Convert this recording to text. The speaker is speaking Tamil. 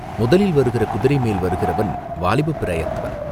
முதலில் வருகிற குதிரை மேல் வருகிறவன் வாலிபப் பிராயத்தவன்.